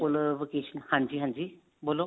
ਕੋਲ vacation ਹਾਂਜੀ ਹਾਂਜੀ ਬੋਲੋ